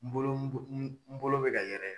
N bolo n bo n bolo bɛ ka yɛrɛ